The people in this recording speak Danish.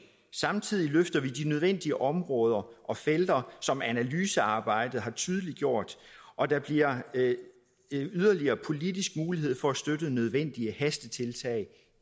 samtidig løfter vi de nødvendige områder som analysearbejdet har tydeliggjort og der bliver politisk mulighed for at støtte nødvendige hastetiltag